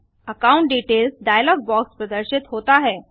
account details dialog box प्रदर्शित होता है